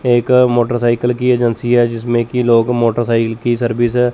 एक मोटरसाइकिल की एजेंसी है जिसमें कि लोग मोटरसाइकिल की सर्विस है।